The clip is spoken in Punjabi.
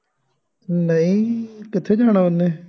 ਨਹੀਂ ਕਿੱਥੇ ਜਾਣਾ ਉਹਨੇ